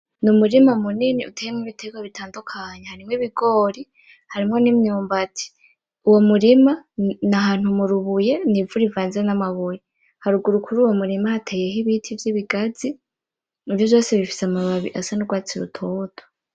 N,umurima munini uteyemwo ibiterwa bitandukanye harimwo ibigori harimwo imyumbati uwo murima n'ahantu murubuye n,ivu rivanze n'amabuye haruguru kuri uwo murima hateyeko ibiti vy'ibigazi vyose bifise amababi asa n'urwatsi rutoto .